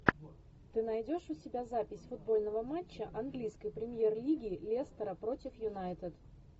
ты найдешь у себя запись футбольного матча английской премьер лиги лестера против юнайтед